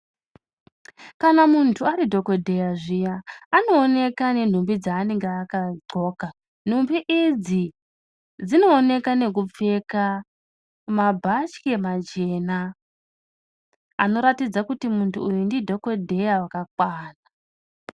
Kana muntu ari dhokodheya zviya anooneka nenhumbi dzanenga akadhloka. Nhumbi idzi dzinooneka nekupfeka mabhatyi machena anoratidza kuti muntu uyu ndidhokodheya wakakwana.